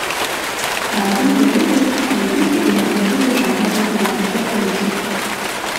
Razen v devetdesetih letih je bila vedno težava z motivacijo tujcev.